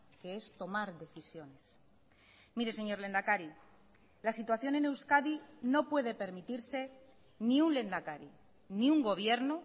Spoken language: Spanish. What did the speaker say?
que es tomar decisiones mire señor lehendakari la situación en euskadi no puede permitirse ni un lehendakari ni un gobierno